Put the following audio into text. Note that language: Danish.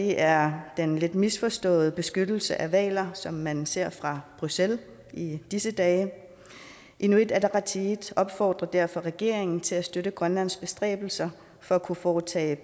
er den lidt misforståede beskyttelse af hvaler som man ser fra bruxelles i disse dage inuit ataqatigiit opfordrer derfor regeringen til at støtte grønlands bestræbelser for at kunne foretage